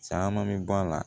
Caman mi bɔ a la